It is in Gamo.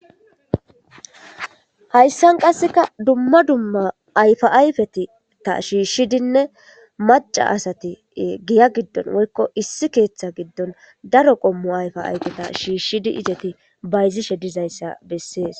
Hayssan qassekka dumma dumma ayfa ayfeta shiishshidinne macca asati giya giddon woykko issi keeththa giddon daro qommo ayfa ayfeta shiishshidi bayzishe dizayssa besses.